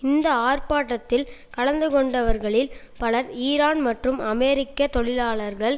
இந்த ஆர்ப்பாட்டத்தில் கலந்து கொண்டவர்களில் பலர் ஈரான் மற்றும் அமெரிக்க தொழிலாளர்கள்